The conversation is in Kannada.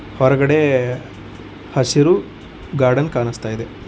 ಹೊರಗಡೆ ಹಸಿರು ಗಾರ್ಡನ್ ಕಾಣಿಸ್ತಾ ಇದೆ.